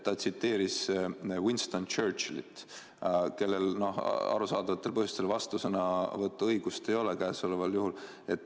Ta tsiteeris Winston Churchillit, kellel arusaadavatel põhjustel vastusõnavõtuõigust ei ole käesoleval juhul.